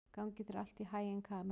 Gangi þér allt í haginn, Kamí.